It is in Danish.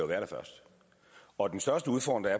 være der først og den største udfordring